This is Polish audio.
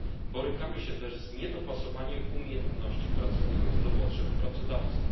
Borykamy się też z niedopasowaniem umiejętności pracowników do potrzeb pracodawców.